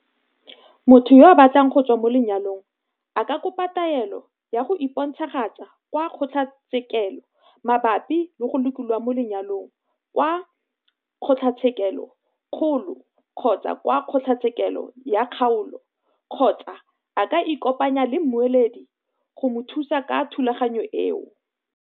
"Motho yo a batlang go tswa mo lenyalong a ka kopa taelo ya go iponagatsa kwa kgotlatshe-kelo mabapi le go lokololwa mo lenyalong kwa kgotlatshekelo-kgolo kgotsa kwa kgotlatshekelo ya kgaolo, kgotsa a ka ikopanya le mmueledi go mo thusa ka thulaganyo eo."